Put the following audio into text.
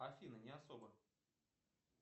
афина не особо